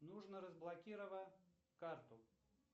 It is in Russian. нужно разблокировать карту